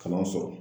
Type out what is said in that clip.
Kalan sɔrɔ